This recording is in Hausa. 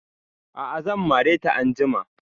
A'a zan mare ta anjima